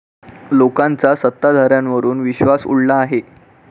लोकांचा सत्ताधाऱ्यांवरुन विश्वास उडला आहे.